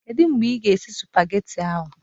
Kedu mgbe ị ga-esi spagetị ahụ?